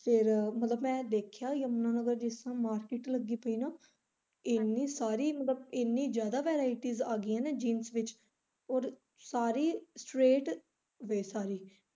ਫੇਰ ਮੈਂ ਦੇਖਿਆ ਯਮੁਨਾ ਨਗਰ ਜਿਸ ਤਰਾਂ ਮਾਸਕਿਟ ਲੱਗੀ ਪਈ ਨਾ ਏਨੀ ਸਾਰੀ ਮਤਲਬ ਏਨੀ ਜਿਆਦਾ varieties ਆ ਗਈਆਂ ਨਾ jeans ਵਿੱਚ ਔਰ ਸਾਰੀ straight base ਸੀ।